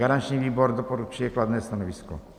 Garanční výbor doporučuje kladné stanovisko.